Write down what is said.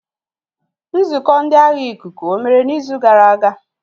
Nzukọ ndị agha ikuku omere n'izu gara aga?